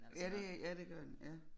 Ja det ja det gør den ja